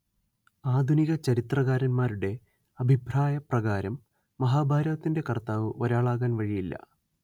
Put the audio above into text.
ആധുനിക ചരിത്രകാരന്മാരുടെ അഭിപ്രായപ്രകാരം മഹാഭാരതത്തിന്റെ കർത്താവ്‌ ഒരാളാകാൻ വഴിയില്ല